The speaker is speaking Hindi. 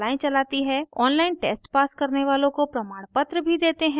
online test pass करने वालों को प्रमाणपत्र भी देते हैं